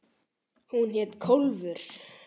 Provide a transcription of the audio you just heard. Hún hét Kólfur.